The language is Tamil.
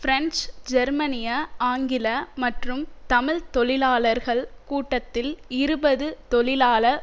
பிரெஞ்சு ஜெர்மனிய ஆங்கில மற்றும் தமிழ் தொழிலாளர்கள் கூட்டத்தில் இருபது தொழிலாள